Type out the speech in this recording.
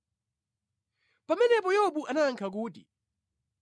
Pamenepo Yobu anayankha kuti,